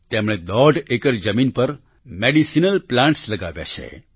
તેમણે દોઢ એકર જમીન પર મેડિસીનલ પ્લાન્ટ્સ લગાવ્યા છે